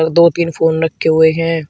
दो तीन फोन रखे हुए हैं।